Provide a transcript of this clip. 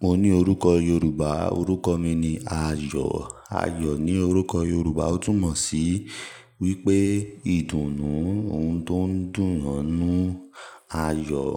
Mo ní orúkọ Yorùbá. Orúkọ mi ni Ayọ̀. Ayọ̀ ní orúkọ Yorùbá ó túmọ̀ sí wípé ìdùnnú, ohun tó ń dùn'yàn n'nú, Ayọ̀.